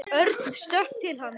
Örn stökk til hans.